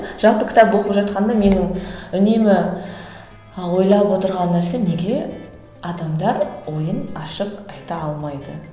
жалпы кітап оқып жатқанда менің үнемі і ойлап отырған нәрсем неге адамдар ойын ашып айта алмайды